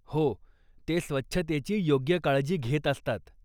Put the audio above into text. हो, ते स्वच्छतेची योग्य काळजी घेत असतात.